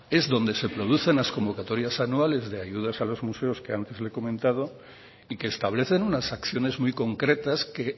es donde se producen las convocatorias anuales de ayudas a los museos que antes le he comentado y que establecen unas acciones muy concretas que